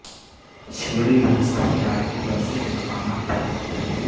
شینگڈی UNESCO کے عالمی ورثے کے مقامات پر ہے